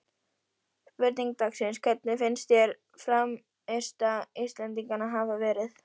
Spurning dagsins: Hvernig finnst þér frammistaða Íslendinganna hafa verið?